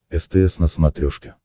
стс на смотрешке